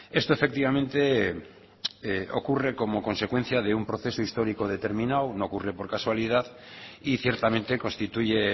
esto efectivamente ocurre como consecuencia de un proceso histórico determinado no ocurre por casualidad y ciertamente constituye